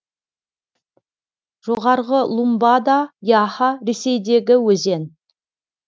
жоғарғы лумбода яха ресейдегі өзен